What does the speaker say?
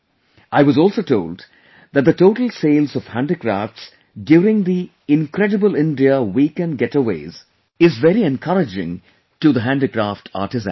I was also told that the total sales of handicrafts during the Incredible India Weekend Getaways is very encouraging to the handicraft artisans